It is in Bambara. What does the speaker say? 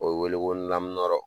O ye wele ko lamunɔrɔ.